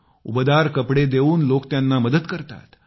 उबदार कपडे देऊन लोक त्यांना मदत करतात